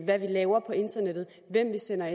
hvad vi laver på internettet hvem vi sender